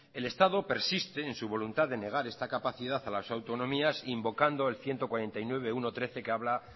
el estado persiste en su voluntad de negar esta capacidad a las autonomías invocando el ciento cuarenta y nueve punto uno punto trece que habla